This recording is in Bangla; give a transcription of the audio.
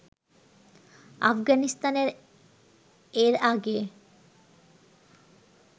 আফগানিস্তানের এর আগে